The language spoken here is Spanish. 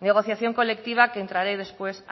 negociación colectiva que entraré después